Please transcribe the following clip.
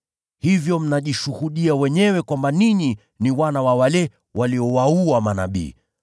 Hivyo mnajishuhudia wenyewe kwamba ninyi ni wana wa wale waliowaua manabii.